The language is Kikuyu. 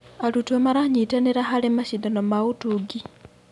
Arutwo maranyitanĩra harĩ macindano ma ũtungi.